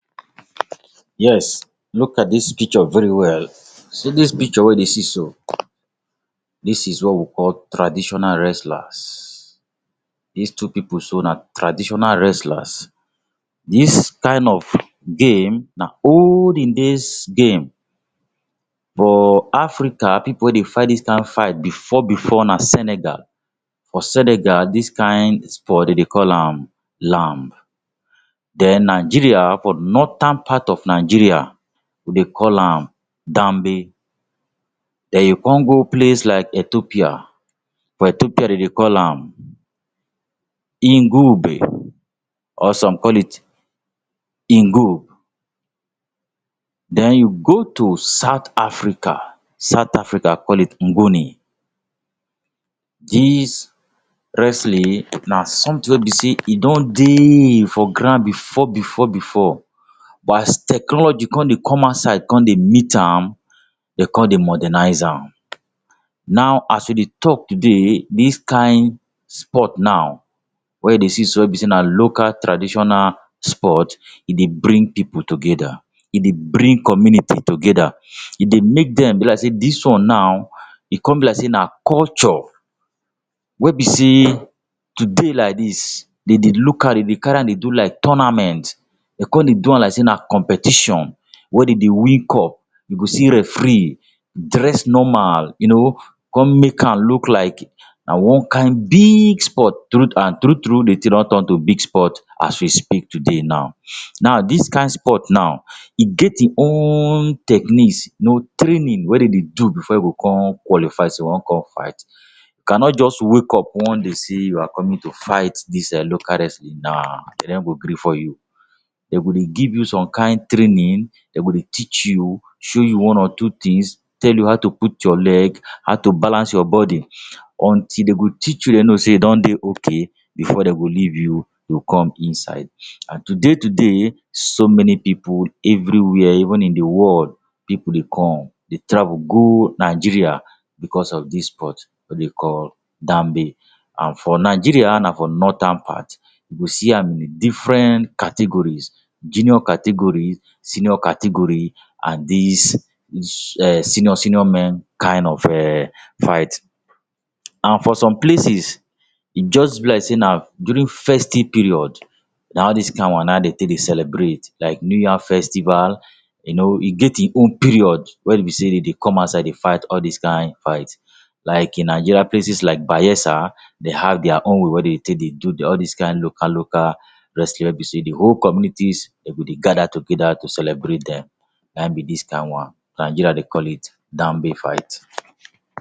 Yes, look at dis picture very well. See dis picture wey you dey see so, dis is what we call traditional wrestlers. Dis two pipu so na traditional wrestlers. Dis kind of game na olden days game. For Africa, pipu wey dey fight dis kind fight before before na Senegal. For Senegal, dis kind sport dem dey call am lamb. Then, Nigeria, for northern part of Nigeria, we dey call am. Then you come go place like Ethopia, for Ethopia dem dey call am or some call it. Then, you go to South Africa, South Africa call it. Dis wrestling na something wey be sey e don dey for ground before before before. But, as technology come dey come outside come dey meet am, dem come dey modernize am. Now, as we dey talk today, dis kind sport now wey you dey see so, wey be sey na local traditional sport. E dey bring pipu together. E dey bring community together. E dey make dem be like sey dis one now, e come be like sey na culture wey be sey today like dis dem dey look am, dey carry am dey do like tournament. Dem come dey do am like sey na competition wey dem dey win cup. You go see referee dress normal you know, come make am look like na one kind big sport. Truth and true true de thing don turn to big sport as we speak today now. Now dis kind sport now, e get im own techniques, you know training wey dem dey do before you go come qualify sey you want come fight. You cannot just wake up one day sey you are coming to fight dis um local wrestling. Nah. Dem no go gree for you. Dem go dey give you some kind training. Dem go dey teach you, show you one or two things, tell you how to put your leg, how to balance your body. Until dem go teach you then know sey you don dey okay before dem go leave you you come inside. And today today, so many pipu everywhere, even in the world, pipu dey come, dey travel go Nigeria because of dis sport wey dem call. And for Nigeria, na for northern part, you go see am in de different categories. Junior categories, senior categories and dis dis um senior senior men kind of um fight. And for some places, e just be like sey na during festive period na all dis kind one na dem take dey celebrate. Like new yam festival, you know e get e own period wey be sey dem dey come outside dey fight all dis kind fight., Like in Nigeria, places like Bayelsa dem have their own way wey dem take dey do their all dis kind local local wrestling wey be sey de whole communities dem go dey gather together to celebrate dem. Na be dis kind one. Nigeria dey cal it fight.